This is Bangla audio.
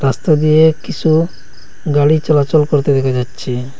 রাস্তা দিয়ে কিসু গাড়ি চলাচল করতে দেখা যাচ্ছে।